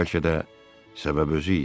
Bəlkə də səbəb özü idi.